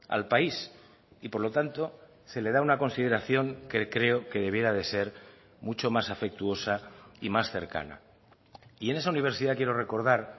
al país y por lo tanto se le da una consideración que creo que debiera de ser mucho más afectuosa y más cercana y en esa universidad quiero recordar